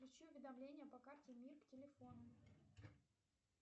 включи уведомления по карте мир к телефону